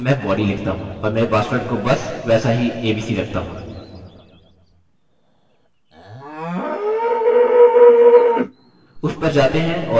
उस पर जाते हैं और username एको करते हैं और एक ब्रेक जोड़ते हैं